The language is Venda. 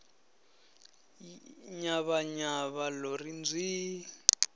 nyavha nyavha lo ri nzwiii